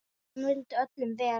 Hún vildi öllum vel.